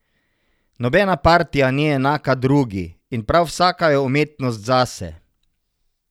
Nobena partija ni enaka drugi, in prav vsaka je umetnost zase.